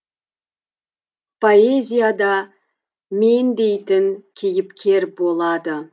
поэзияда мен дейтін кейіпкер болады